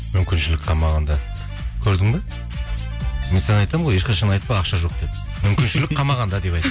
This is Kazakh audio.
мүмкіншілік қалмағанда көрдің бе мен саған айтамын ғой ешқашан айтпа ақша жоқ деп мүмкіншілік қалмағанда деп айт